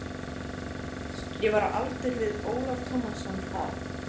Ég var á aldur við Ólaf Tómasson þá.